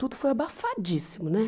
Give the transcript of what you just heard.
Tudo foi abafadíssimo, né?